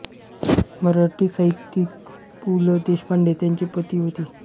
मराठी साहित्यिक पु ल देशपांडे त्यांचे पती होते